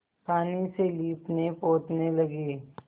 पानी से लीपनेपोतने लगी